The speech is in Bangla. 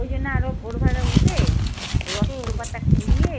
ওই জন্য আরো ভোরবেলা উঠে ওই অশথ পাতা কুড়িয়ে